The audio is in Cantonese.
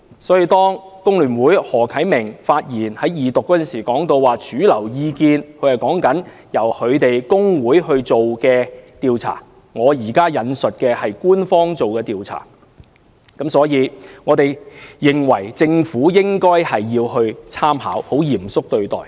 所以，工聯會何啟明議員在二讀辯論發言時提到的"主流意見"，所指的其實是其工會自己進行的調查，我引述的則是官方調查結果，政府應該參考及嚴肅對待。